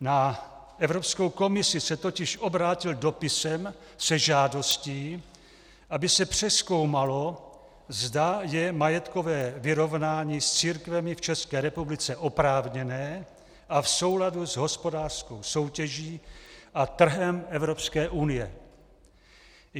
Na Evropskou komisi se totiž obrátil dopisem se žádostí, aby se přezkoumalo, zda je majetkové vyrovnání s církvemi v České republice oprávněné a v souladu s hospodářskou soutěží a trhem Evropské unie.